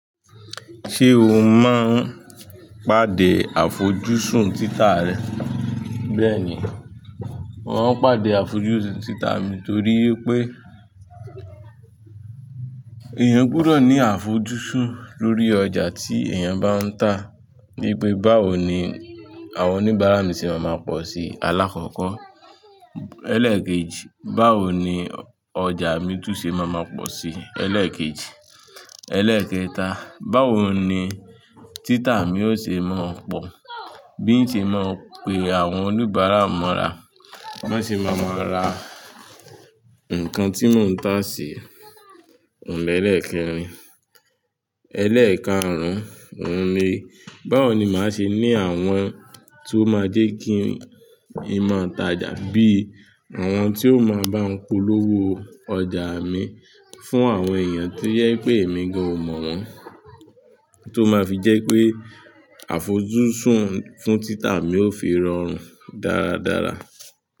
Ṣé o máa ń pàdé àfojúsùn títà rẹ? Bẹ́ẹ̀ni, mò ń pàdé àfojúsùn títà mi torí pé èèyàn gbọdọ̀ ní àfojúsùn lórí ọjà tí èèyàn bá ń tà. Gẹ́gẹ́ bí báwo ni àwọn oníbàárà mi ṣe máa ma pọ̀ sí i? Alákọ̀ọ́kọ́, ẹlẹ́ẹ̀kejì, báwo ni ọjà mi tún ṣe máa ma pọ̀ sí i? Ẹlẹ́ẹ̀kejì, ẹlẹ́ẹ̀kẹta, báwo ni títà mi yóò ṣe máa pọ̀, bí ì ṣe máa pe àwọn oníbàárà mọ́ra, bí wọ́n ṣe wa maa ra nǹkan tí mò ń tà sí i? Òun ẹlẹ́ẹ̀kẹrin, ẹlẹ́ẹ̀karùn-ún, òun mi, báwo ni màá ṣe ní àwọn tó máa jẹ́ kí n máá tàjà bí àwọn tí ó máa bá n pólówó ọjà mi fún àwọn èèyàn tí ó jẹ pé èmi gan ò mọ̀ wọ́n, tó máa fi jẹ́ pé àfojúsùn fún títà mi ó fi rọrùn dáradára.